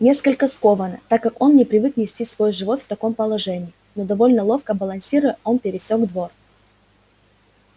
несколько скованно так как он не привык нести свой живот в таком положении но довольно ловко балансируя он пересёк двор